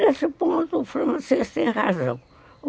Nesse ponto, o francês tem razão.